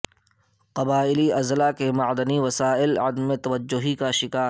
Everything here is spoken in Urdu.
قبائلی اضلاع کے معدنی وسائل عدم توجہی کا شکار